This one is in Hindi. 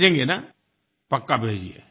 भेजेंगे न पक्का भेजिए